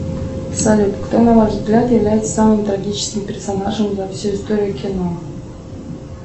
салют кто на ваш взгляд является самым трагическим персонажем за всю историю кино